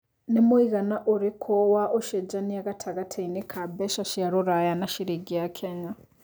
nĩ mũigana ũrĩkũ wa ũcenjanĩa gatagatiinĩ ka mbeca cia rũraya na ciringi ya Kenya